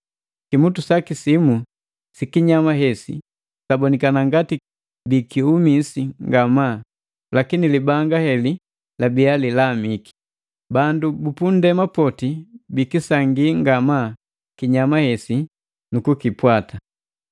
Kimutu saki simu sikinyama hesi sabonikana ngati bikiumisi ngamaa, lakini libanga heli labia lilamiki. Bandu bu punndema poti bikisangii nga maa kinyama hesi nukukipwata.